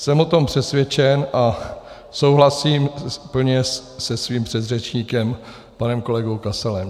Jsem o tom přesvědčen a souhlasím plně se svým předřečníkem panem kolegou Kasalem.